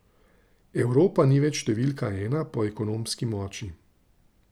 Evropa ni več številka ena po ekonomski moči.